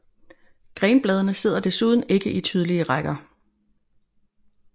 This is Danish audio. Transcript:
Grenbladene sidder desuden ikke i tydelige rækker